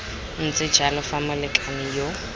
ntse jalo fa molekane yo